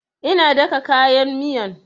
Ina daka kayan miyan